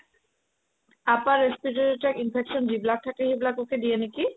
upper respiratory যেতিয়া infection যিবিলাক থাকে সেই বিলাককে দিয়ে নেকি